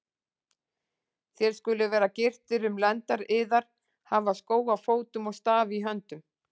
Þér skuluð vera gyrtir um lendar yðar, hafa skó á fótum og staf í höndum.